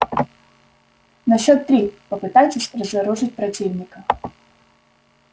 на счёт три попытайтесь разоружить противника